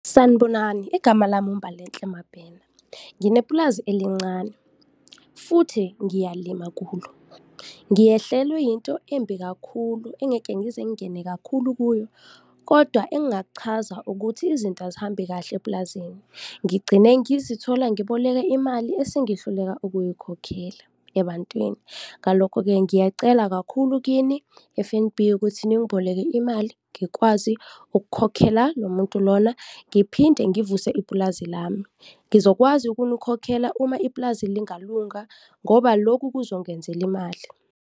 Sanibonani, igama lami uMbalenhle Mabena, nginepulazi elincane futhi ngiyalima kulo. Ngiyehlelwe yinto embi kakhulu engeke ngize ngingene kakhulu kuyo kodwa engingakuchaza ukuthi izinto azihambi kahle epulazini, ngigcine ngizithola ngiboleka imali esengihluleka ukuyikhokhela ebantwini. Ngalokho-ke ngiyacela kakhulu kini F_N_B ukuthi ningiboleke imali, ngikwazi ukukhokhela lomuntu lona ngiphinde ngivuse ipulazi lami, ngizokwazi ukunikhokhela uma ipulazi lingalunga ngoba loku kuzongenzela imali.